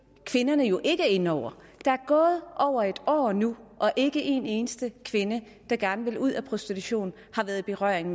kvinderne jo ikke er inde over der er gået over et år nu og ikke en eneste kvinde der gerne vil ud af prostitution har været i berøring